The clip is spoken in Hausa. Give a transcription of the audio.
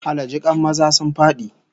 Allah jikan maza sun fadi!